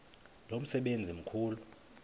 lo msebenzi mkhulu